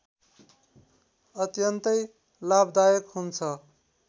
अत्यन्तै लाभदायक हुन्छ